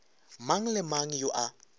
mang le mang yo a